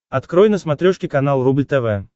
открой на смотрешке канал рубль тв